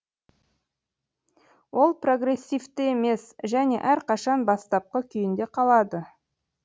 ол прогрессивті емес және әрқашан бастапқы күйінде қалады